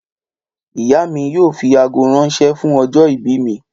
Ìyá mi yóò fi àgó ránṣẹ́ fún ọjọ́ ìbí mi